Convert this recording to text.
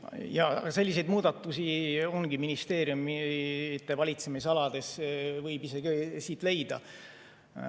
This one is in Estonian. Jaa, selliseid muudatusi ongi ministeeriumide valitsemisalades, neid võib isegi siit leida.